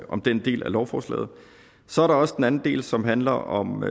om den del af lovforslaget så er der også den anden del som handler om